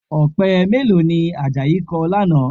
Ọ̀pẹ mélòó ni Àjàyí kọ lánàá?